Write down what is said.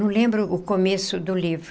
Não lembro o começo do livro.